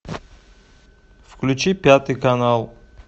включи пятый канал